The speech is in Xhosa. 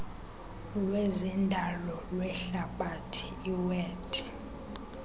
lwezendalo lwehlabathi iwed